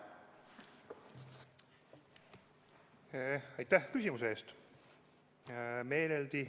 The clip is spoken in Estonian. Aitäh küsimuse eest!